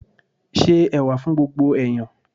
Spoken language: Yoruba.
Se Ẹ̀wà fún gbogbo ẹ̀yán.